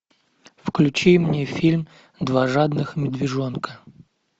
включи мне фильм два жадных медвежонка